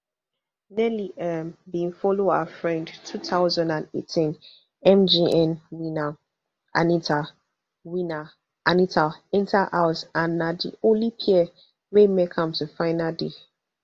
nelly um bin follow her friend two thousand and eighteen mgn winner anita winner anita enta house and na di only pair wey make am to final day